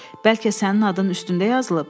Bəlkə sənin adın üstündə yazılıb?